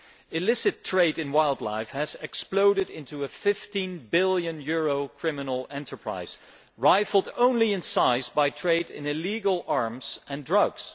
Illicit trade in wildlife has exploded into a EUR 15 billion criminal enterprise, rivalled only in size by trade in illegal arms and drugs.